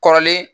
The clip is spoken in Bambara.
Kɔrɔlen